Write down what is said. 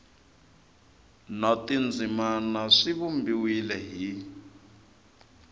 na tindzimana swi vumbiwile hi